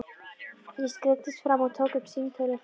Ég skreiddist fram og tók upp símtólið.